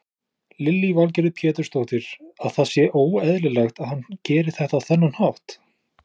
Lillý Valgerður Pétursdóttir: Að það sé óeðlilegt að hann geri þetta á þennan hátt?